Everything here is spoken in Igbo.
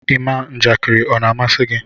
ịma njakiri ọ na amasi gi?